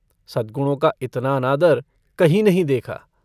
सदगुणों का इतना अनादर कहीं नहीं देखा।